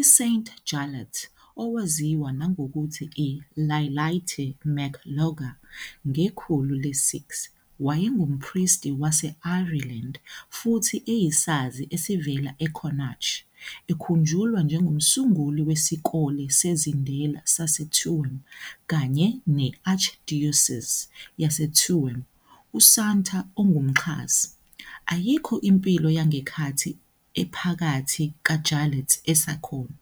I-Saint Jarlath, owaziwa nangokuthi u- Iarlaithe mac Loga, "ngekhulu" le-6, wayengumpristi wase-Ireland futhi eyisazi esivela eConnacht, ekhunjulwa njengomsunguli weSikole sezindela saseTuam kanye ne- Archdiocese yaseTuam, usanta ongumxhasi."Ayikho impilo" yangenkathi ephakathi kaJarlath esekhona,